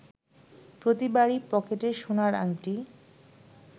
প্রতিবারই পকেটের সোনার আংটি